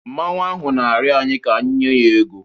Mmanwu ahụ na-arịọ anyị ka anyị nye ya ego.